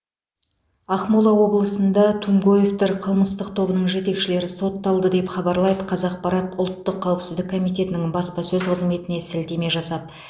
ақмола облысында тумгоевтер қылмыстық тобының жетекшілері сотталды деп хабарлайды қазақпарат ұлттық қауіпсіздік комитетінің баспасөз қызметіне сілтеме жасап